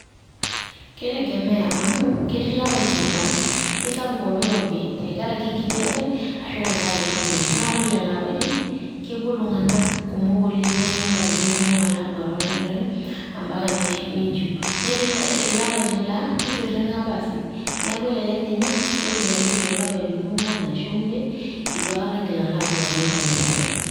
Kitegemea amu, ketii lapaitin laa kisapuk oloirobi tenkaraki enkijape arashu tenkaraki enterit naa ore lelo apaitin kepuo iltunganak kumok oleng naa ilo nkatitin kumok ala aduare oldakitari ambaka ninchiu . netii lapaitin laa kitiring`a basi neku elelek ninye aa ore too lapaitin oongwan ashu imiet itu aikata ingil alo aduare oldakitari